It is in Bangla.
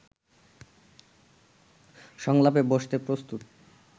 সংলাপে বসতে প্রস্তুত